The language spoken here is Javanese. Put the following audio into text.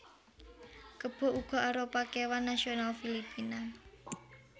Kebo uga arupa kéwan nasional Filipina